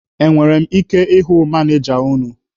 E nwere m ike ịhụ manịja unu?